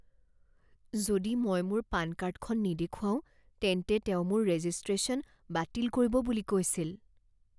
যদি মই মোৰ পান কাৰ্ডখন নেদেখুৱাও তেন্তে তেওঁ মোৰ ৰেজিষ্ট্ৰেচন বাতিল কৰিব বুলি কৈছিল।